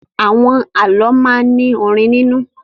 Àwọn àlọ́ máa ń ní orin nínú.